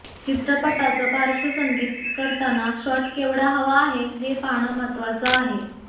चित्रपटाचं पाश्र्वसंगीत करताना शॉट केवढा हवा हे पाहणं महत्त्वाचं आहे